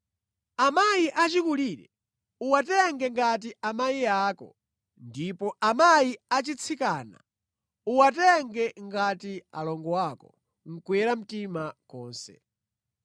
Amayi achikulire uwatenge ngati amayi ako ndipo amayi achitsikana uwatenge ngati alongo ako, nʼkuyera mtima konse.